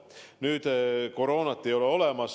Nüüd teooria, et koroonat ei ole olemas.